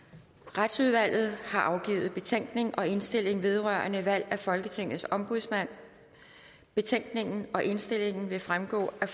retsudvalget har afgivet betænkning og indstilling vedrørende valg af folketingets ombudsmand betænkningen og indstillingen vil fremgå af